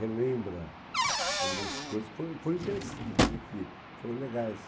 Relembra algumas coisas que foram foi interessantes e que foram legais.